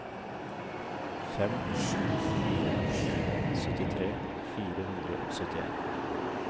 fem sju fire fire syttitre fire hundre og syttien